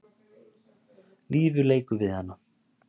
Lífið leikur við hana.